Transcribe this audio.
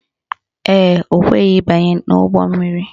Ee, o kweghi ịbanye n' ụgbọmmiri